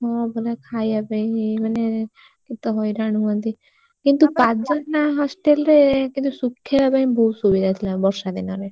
ହଁ ପରା ଖାଇଆ ପାଇଁ ମାନେ କେତେ ହଇରାଣ ହୁଅନ୍ତି କିନ୍ତୁ କାଜଲ ନା hostel ରେ କିନ୍ତୁ ଶୁଖେଇବା ପାଇଁ ବହୁତ ସୁବିଧା ଥିଲା ବର୍ଷା ଦିନରେ।